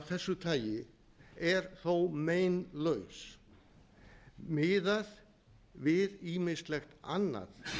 þessu tagi er þó meinlaus miðað við ýmislegt annað